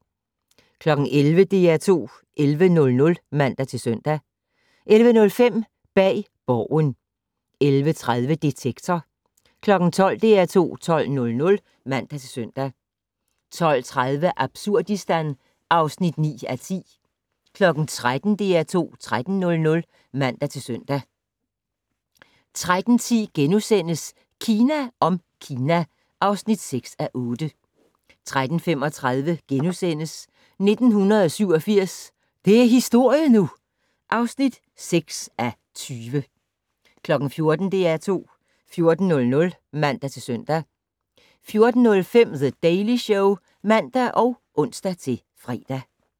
11:00: DR2 11:00 (man-søn) 11:05: Bag Borgen 11:30: Detektor 12:00: DR2 12:00 (man-søn) 12:30: Absurdistan (9:10) 13:00: DR2 13:00 (man-søn) 13:10: Kina om Kina (6:8)* 13:35: 1987 - det er historie nu! (6:20)* 14:00: DR2 14:00 (man-søn) 14:05: The Daily Show (man og ons-fre)